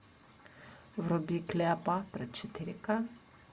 вруби клеопатра четыре ка